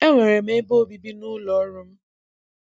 E nwere m ebe obibi n'ụlọọrụ m.